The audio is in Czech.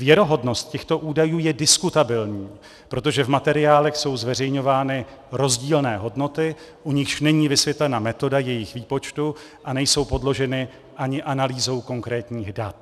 Věrohodnost těchto údajů je diskutabilní, protože v materiálech jsou zveřejňovány rozdílné hodnoty, u nichž není vysvětlena metoda jejich výpočtu a nejsou podloženy ani analýzou konkrétních dat."